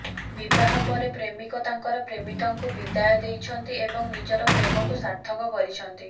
ବିବାହ ପରେ ପ୍ରେମିକ ତାଙ୍କର ପ୍ରେମିକାଙ୍କୁ ବିଦାୟ ଦେଇଛନ୍ତି ଏବଂ ନିଜର ପ୍ରେମକୁ ସାର୍ଥକ କରିଛନ୍ତି